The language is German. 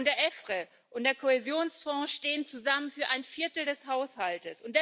Und der EFRE und der Kohäsionsfonds stehen zusammen für ein Viertel des Haushalts.